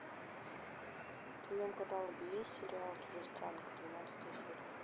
в твоем каталоге есть сериал чужестранка двенадцатая серия